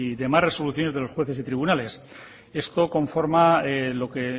demás resoluciones de los jueces y tribunales esto conforma lo que